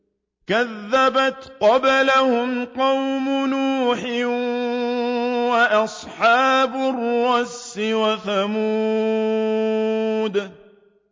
كَذَّبَتْ قَبْلَهُمْ قَوْمُ نُوحٍ وَأَصْحَابُ الرَّسِّ وَثَمُودُ